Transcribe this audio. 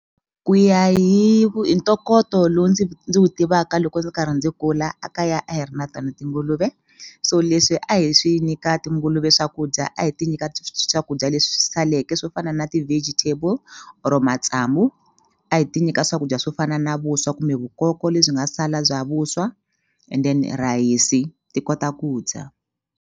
Ku ya hi hi ntokoto lowu ndzi wu tivaka loko ndzi karhi ndzi kula a kaya a hi ri na tona tinguluve so leswi a hi swi nyika tinguluve swakudya a hi ti nyika swakudya leswi saleke swo fana na ti-vegietable or matsamu a hi ti nyika swakudya swo fana na vuswa kumbe vukoko lebyi nga sala bya vuswa and then rhayisi ti kota ku dya.